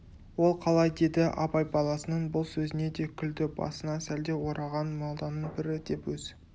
ол қалай деді абай баласының бұл сөзіне де күлді басына сәлде ораған молданың бірі деп өз